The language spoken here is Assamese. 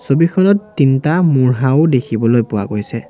ছবিখনত তিনটা মুঢ়াও দেখিবলৈ পোৱা গৈছে।